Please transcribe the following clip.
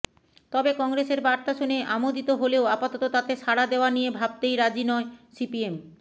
তবে কংগ্রেসের বার্তা শুনে আমোদিত হলেও আপাতত তাতে সাড়া দেওয়া নিয়ে ভাবতেই রাজি নয় সিপিএম